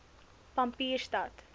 pampierstad